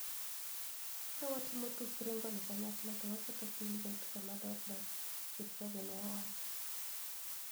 Ka watimo tuk ringo ni kanyakla to waketo piny bet kama ber dakie, Kipchoge ne owacho